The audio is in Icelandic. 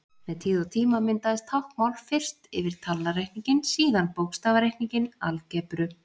Með tíð og tíma myndaðist táknmál, fyrst yfir talnareikninginn, síðan bókstafareikninginn, algebru.